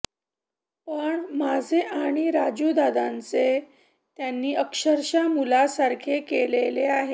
पण माझे आणि राजूदादाचे त्यांनी अक्षरशः मुलासारखे केलेले आहे